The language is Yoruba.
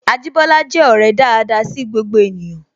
Ajibola je ọrẹ daada sí gbogbo ènìyàn